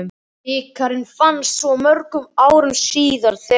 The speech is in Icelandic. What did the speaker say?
Bikarinn fannst svo mörgum árum síðar þegar